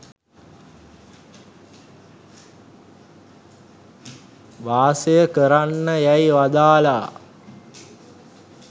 වාසය කරන්න යැයි වදාළා.